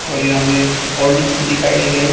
और यहां में हॉर्लिक्स भी दिखाई दे रहा है।